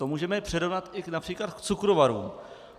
To můžeme přirovnat i například k cukrovarům.